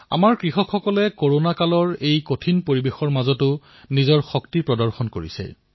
আমাৰ কৃষকসকলে কৰোনাই এই কঠিন পৰিস্থিতিতো নিজৰ শক্তি প্ৰদৰ্শন কৰিছে